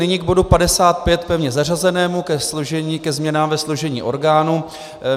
Nyní k bodu 55, pevně zařazenému, ke změnám ve složení orgánů.